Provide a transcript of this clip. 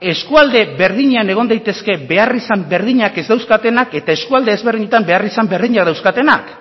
eskualde berdinean egon daitezkeen beharrizan berdinak ez dauzkatenak eta eskualde ezberdinetan beharrizan berdinak dauzkatenak